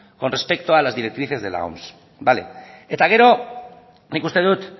con respecto a las directrices de la oms vale eta gero nik uste dut